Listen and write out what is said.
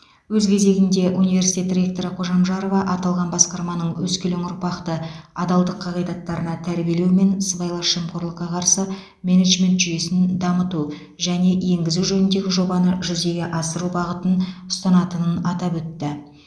өз кезегінде университет ректоры қожамжарова аталған басқарманың өскелең ұрпақты адалдық қағидаттарына тәрбиелеу мен сыбайлас жемқорлыққа қарсы менеджмент жүйесін дамыту және енгізу жөніндегі жобаны жүзеге асыру бағытын ұстанатынын атап өтті